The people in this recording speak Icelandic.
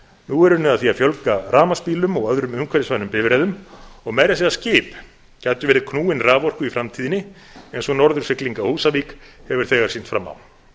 nú er unnið að því að fjölga rafmagnsbílum og öðrum umhverfisvænum bifreiðum og meira að segja skip gætu verið knúin raforku í framtíðinni eins og norðursigling á húsavík hefur þegar sýnt fram á